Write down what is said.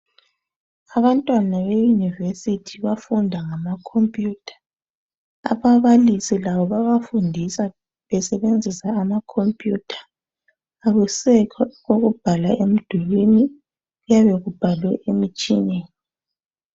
Abantwana beyunivesithi bafunda ngamakhompuyutha ababalisi labo babafundisa besebenzisa amakhompuyutha akusekho ukubhala emdulwini kuyabe kubhalwe emitshineni.